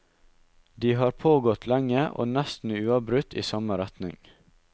De har pågått lenge, og nesten uavbrutt i samme retning.